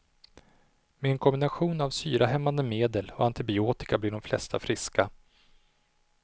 Med en kombination av syrahämmande medel och antibiotika blir de flesta friska.